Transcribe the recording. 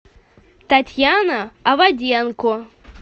татьяна аваденко